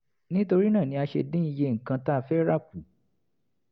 nítorí náà ni a ṣe dín iye nǹkan tá fẹ́ rà kù